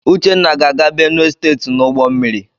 Uchenna ga-aga Benue site n'ụgbọmmiri.